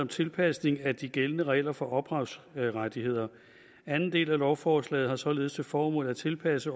tilpasning af de gældende regler for ophavsrettigheder anden del af lovforslaget har således til formål at tilpasse